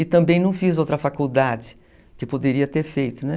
E também não fiz outra faculdade que poderia ter feito, né?